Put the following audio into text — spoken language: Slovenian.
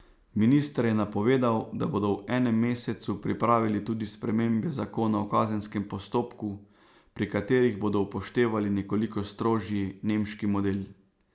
Minister je napovedal, da bodo v enem mesecu pripravili tudi spremembe zakona o kazenskem postopku, pri katerih bodo upoštevali nekoliko strožji nemški model.